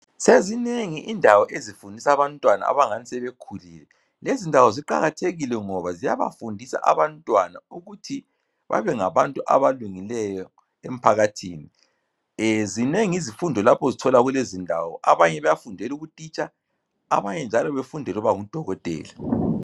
Sezinengi indawo ezifundisa abantwana abangani sebekhulile. Lezi ndawo ziqakathekile ngoba ziyabafundisa abantwana ukuthi babengabantu abalungileyo emphakathini. Zinengi izifundo lapho ozithola kulezi ndawo . Abanye bayafundela ubutitsha abanye njalo befundele ukuba ngudokotela.